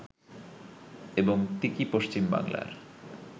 এবং তিকি পশ্চিমবাংলার